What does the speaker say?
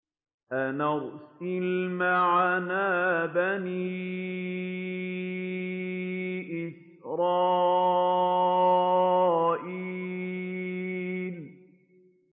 أَنْ أَرْسِلْ مَعَنَا بَنِي إِسْرَائِيلَ